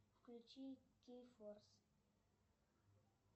включи кей форс